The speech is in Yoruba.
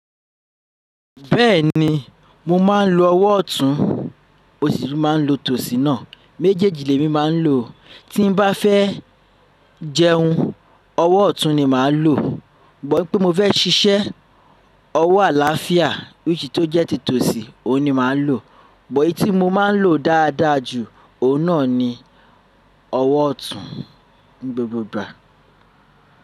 Bẹ́ẹ̀ni, mo máa ń lo ọwọ́ ọ̀tún, mo si tun máa ń lo tòsì náà. Méjéeji lé mi máa ń lo. Tí n bá fẹ́ jẹun, ọwọ́ ọ̀tún ni màá lo. But wipé mo fẹ́ ṣiṣẹ́, ọwọ́ àláfíà, which tó jẹ́ tí tòsì, òun ni màá lo. But eyì tí mo máa ń lo dáadáa jù, òun náà ni ọwọ́ ọ̀tún ni gbogbo ìgbà.